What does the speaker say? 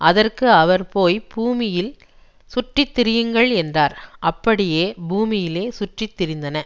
அதற்கு அவர் போய் பூமியில் சுற்றி திரியுங்கள் என்றார் அப்படியே பூமியிலே சுற்றித்திரிந்தன